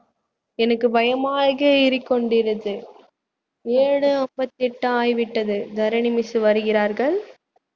எனக்கு பயமாக ஏழு முப்பத்தி எட்டு ஆகிவிட்டது தரணி miss வருகிறார்கள்